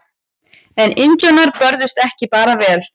En indjánar börðust ekki bara vel.